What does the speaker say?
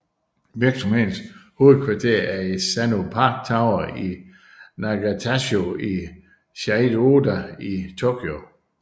Virksomhedens hovedkvarter er i Sanno Park Tower i Nagatachoo i Chiyoda i Tokyo